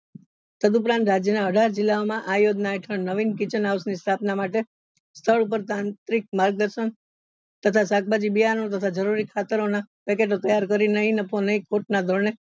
તદુપરાંત રાજ્ય ના અઢાર જીલ્લા ઓ માં આ યોજના હેઠળ નવીન kitchen house ની સ્થાપના માટે સ્થળ ઉપર તાંત્રિક માર્ગદર્શન તથા શાકભાજી બિયારણ તથા જરૂરી ખાતરો ના package ઓ તૈયાર કરી નહિ નફો નહી ખોટ ના ધોરણે